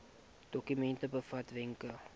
dokument bevat wenke